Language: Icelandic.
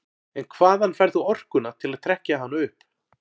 En hvaðan færð þú orkuna til að trekkja hana upp?